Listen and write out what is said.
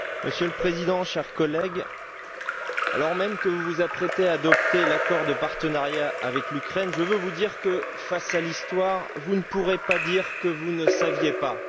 Monsieur le Président, chers collègues, alors même que vous vous apprêtez à adopter l'accord de partenariat avec l'Ukraine, je veux vous dire que, face à l'histoire, vous ne pourrez pas dire que vous ne saviez pas.